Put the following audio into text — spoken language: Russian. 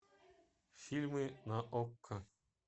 фильмы на окко